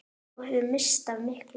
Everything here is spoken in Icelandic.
Þú hefðir misst af miklu!